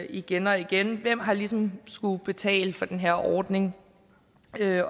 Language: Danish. igen og igen hvem har ligesom skullet betale for den her ordning